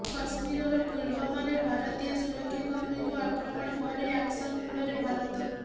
କଶ୍ମୀରର ପୁଲୱାମାରେ ଭାରତୀୟ ସୁରକ୍ଷାକର୍ମୀଙ୍କୁ ଆକ୍ରମଣ ପରେ ଆକ୍ସନ ମୁଡରେ ଭାରତ